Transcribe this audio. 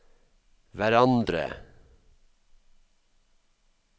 hverandre